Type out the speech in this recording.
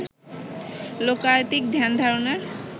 লোকায়তিক ধ্যানধারণার